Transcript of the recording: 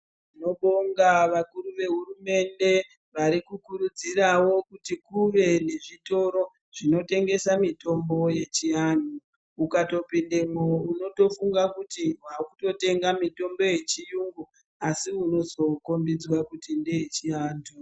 Tinobonga vakuru vehurumende vari kukurudzirawo kuti kuve nezvitoro zvinotengesa mitombo yechiantu. Ukatopindemwo unotofunga kuti wakutotenga mitombo yechiyungu asi unozokombidzwa kuti ngeyechiantu.